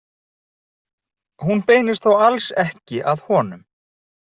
Hún beinist þó alls ekki að honum.